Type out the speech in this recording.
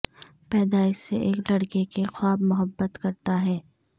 پیدائش سے ایک لڑکے کے خواب محبت کرتا ہے